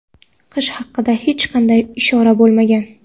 qish haqida hech qanday ishora bo‘lmagan.